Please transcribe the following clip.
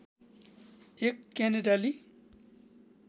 एक क्यानेडाली